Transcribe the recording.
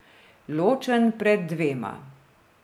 Ločen pred dvema.